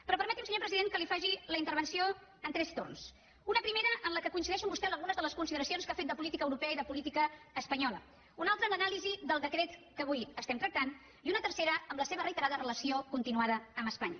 però permeti’m senyor president que li faci la intervenció en tres torns un primer en el qual coincideixo amb vostè en algunes de les consideracions que ha fet de política europea i de política espanyola un altre l’anàlisi del decret que avui estem tractant i un tercer amb la seva reiterada relació continuada amb espanya